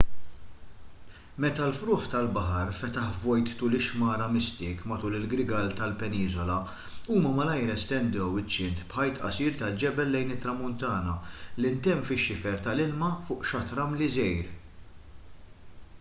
meta l-frugħ tal-baħar fetaħ vojt tul ix-xmara mystic matul il-grigal tal-peniżola huma malajr estendew iċ-ċint b'ħajt qasir tal-ġebel lejn it-tramuntana li ntemm fix-xifer tal-ilma fuq xatt ramli żgħir